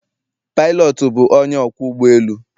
Pilot bụ onye ọkwọ ụgbọ elu